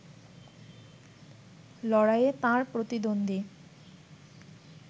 লড়াইয়ে তাঁর প্রতিদ্বন্দ্বী